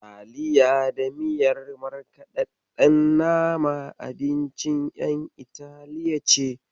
Taliya da miyar markaɗaɗɗen nama abincin ƴan Itali ce.